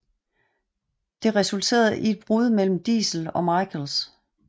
Det resulterede i et brud mellem Diesel og Michaels